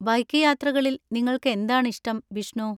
Bike യാത്രകളിൽ നിങ്ങൾക്ക് എന്താണ് ഇഷ്ടം, ബിഷ്ണു?